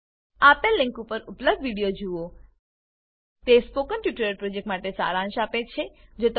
આપેલ લીંક પર ઉપલબ્ધ વિડીઓ નિહાળો httpspoken tutorialorgWhat is a Spoken Tutorial તે સ્પોકન ટ્યુટોરીયલ પ્રોજેક્ટનો સારાંશ આપે છે